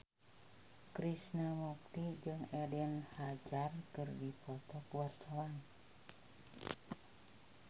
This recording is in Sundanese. Krishna Mukti jeung Eden Hazard keur dipoto ku wartawan